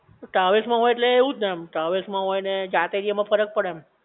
travels મહોઈ ઍટલે એવું જ ને એમ, ટ્રાવેલ્સ માં હોય ને જાતે ગયે માં ફરક પડે ને